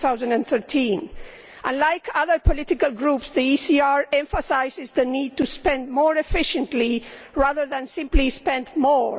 2013. Like other political groups, the ECR emphasises the need to spend more efficiently, rather than simply spend more.